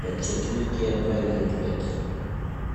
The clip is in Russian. подчеркните правильный ответ